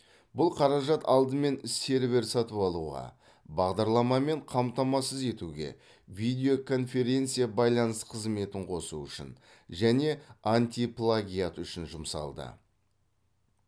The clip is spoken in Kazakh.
бұл қаражат алдымен сервер сатып алуға бағдарламамен қамтамасыз етуге видео конференция байланыс қызметін қосу үшін және антиплагиат үшін жұмсалды